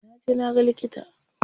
Jiya na je na ga likita.